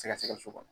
Sɛgɛsɛgɛli kɔnɔ